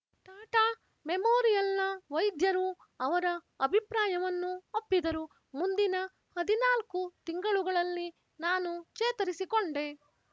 ಟಾಟಾ ಮೆಮೋರಿಯಲ್‍ನ ವೈದ್ಯರು ಅವರ ಅಭಿಪ್ರಾಯವನ್ನು ಒಪ್ಪಿದರು ಮುಂದಿನ ಹದಿನಾಲ್ಕು ತಿಂಗಳುಗಳಲ್ಲಿ ನಾನು ಚೇತರಿಸಿಕೊಂಡೆ